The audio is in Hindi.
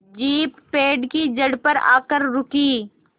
जीप पेड़ की जड़ पर आकर रुकी